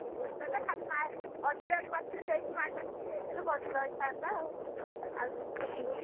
ଲକ୍ଷ୍ମୀବନ୍ତ ଟା ଖାଲି ଅଣ୍ଡିରା ବାଛୁରି ଟେ ହେଇଛି ମାଈ ବାଛୁରି ଟେ ହେଇଥିଲେ ଭଲ ହେଇଥାନ୍ତା ଆଉ ଆଉ